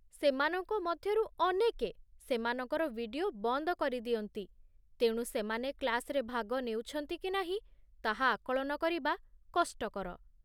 ସେମାନଙ୍କ ମଧ୍ୟରୁ ଅନେକେ ସେମାନଙ୍କର ଭିଡିଓ ବନ୍ଦ କରିଦିଅନ୍ତି, ତେଣୁ ସେମାନେ କ୍ଳାସରେ ଭାଗ ନେଉଛନ୍ତି କି ନାହିଁ ତାହା ଆକଳନ କରିବା କଷ୍ଟକର।